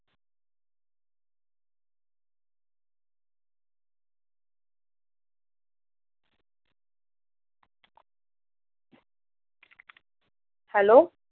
hello